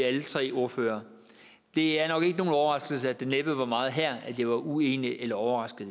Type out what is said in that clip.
alle tre ordførere det er nok ikke nogen overraskelse at der næppe var meget her jeg var uenig i eller overrasket